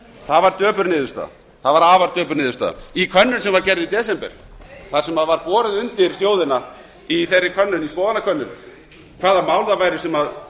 það var afar döpur niðurstaða í könnun sem var gerð í desember þar sem var borið undir þjóðina í þeirri könnun í skoðanakönnun hvaða mál það væru sem